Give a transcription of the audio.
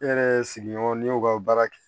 Ne yɛrɛ sigiɲɔgɔn ne y'u ka baara kɛ